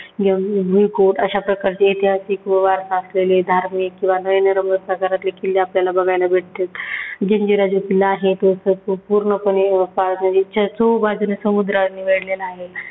अशा प्रकारचे ऐतिहासिक व वारसा असलेले धार्मिक किंवा नयनरम्य प्रकारातले किल्ले आपल्याला किल्ले बघायला भेटतील. जंजिरा जो किल्ला आहे तो असा पूर्णपणे पाळनारीच्या चोहू बाजूने समुद्राने वेढलेला आहे.